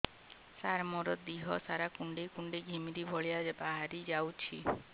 ସାର ମୋର ଦିହ ସାରା କୁଣ୍ଡେଇ କୁଣ୍ଡେଇ ଘିମିରି ଭଳିଆ ବାହାରି ଯାଉଛି